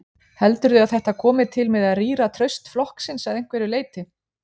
Heldurðu að þetta komi til með að rýra traust flokksins að einhverju leyti?